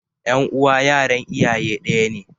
Ƴan uwa yaran iyaye ɗaya ne.